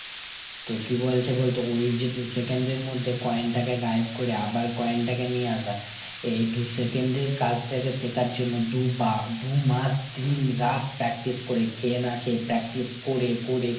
তো কি বলছে বলতো ওই যে দু'second এর মধ্যে coin টাকে গায়েব করে আবার coin টাকে নিয়ে আসা এই দু'second এর কাজটাকে শেখার জন্য দু'বা দু'মাস তিন রাত practice করে, খে না খে practice করে করে